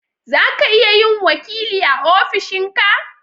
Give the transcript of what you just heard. zaka iya yin wakili a ofishin ka